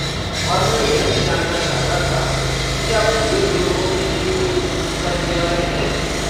और मैं यह भी जानना चाहता था कि क्या बुज़ुर्ग लोगों के लिए कोई चिकित्सा सेवाएँ हैं?